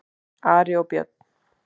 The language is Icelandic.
Ari og Björn!